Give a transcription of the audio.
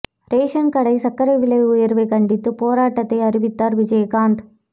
ration கடை சர்க்கரை விலை உயர்வைக் கண்டித்து போராட்டத்தை அறிவித்தார் விஜயகாந்த்